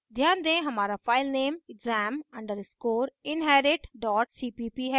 ध्यान दें हमारा file exam _ inherit cpp है